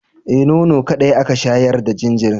Eh, nono kaɗai aka shayar da jinjirin.